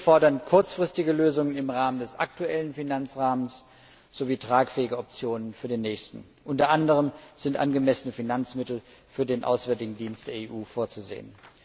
Wir fordern kurzfristige Lösungen im Rahmen des aktuellen Finanzrahmens sowie tragfähige Optionen für den nächsten Finanzrahmen. Unter anderem sind angemessene Finanzmittel für den auswärtigen Dienst der EU vorzusehen.